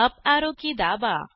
up arrow की दाबा